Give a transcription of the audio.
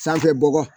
Sanfɛ bɔgɔ